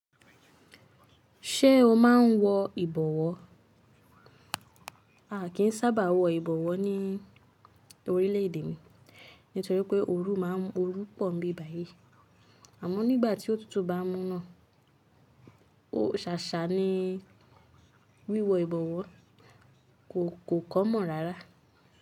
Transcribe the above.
Ṣé o máa ń wọ ìbọwọ́? A kì í sábà wọ ìbọwọ́ ní orílẹ̀ èdè mi nítorí pé ooru máa ń orúpọ̀ nbi báyìí, àmọ́ nígbà tí ó tútù bá múná, ó sàsààní wíwọ ìbọwọ́ kò common rárá.